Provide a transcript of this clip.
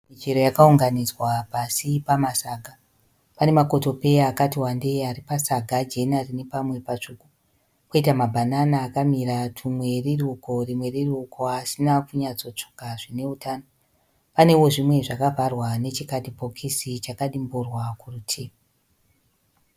Michero yakaunganidzwa pasi pamasaga. Pane makotopeya akati wandei ari pasaga jena rine pamwe patsvuku. Koita mabanana akamira kuti rimwe riri uko rimwe riri uko asina kunyatso tsvuka zvine utano. Panewo zvimwe zvaka vharwa nechi kadhibhokisi chakadimburwa kurutivi.